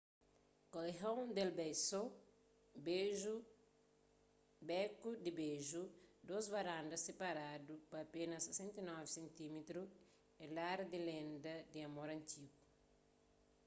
callejon del beso beku di beju. dôs varandas siparadu pa apénas 69 sentímetru é lar di lenda di amor antigu